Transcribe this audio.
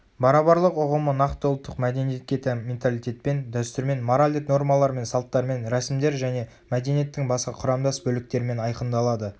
барабарлық ұғымы нақты ұлттық мәдениетке тән менталитетпен дәстүрмен моральдік нормалармен салттармен рәсімдер және мәдениеттің басқа құрамдас бөліктерімен айқындалады